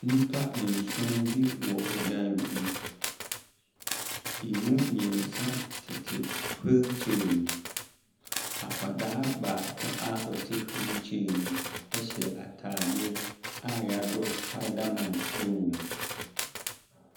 Nnipa nson wɔ ɔdan bi mu. Ɛmu mmiɛnsa tete hwiil kyɛɛ mu. Akwadaa baako a ɔte hwiil kyɛɛ mu ɛhyɛ ataadeɛ a y'adrɔ spaeda man ɛwɔm.